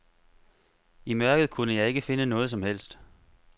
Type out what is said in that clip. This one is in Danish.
I mørket kunne jeg ikke finde noget som helst.